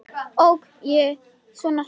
Ók ég svona hratt?